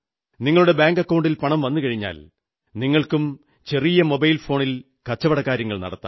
നിങ്ങളുടെ ബാങ്കക്കൌണ്ടിൽ പണം വന്നുകഴിഞ്ഞാൽ നിങ്ങൾക്കും ചെറിയ മൊബൈൽ ഫോണിൽ കച്ചവടകാര്യങ്ങൾ നടത്താം